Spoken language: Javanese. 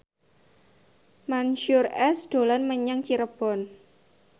Mansyur S dolan menyang Cirebon